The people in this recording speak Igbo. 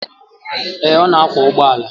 Ee, ọ na akwọ ụgbọala.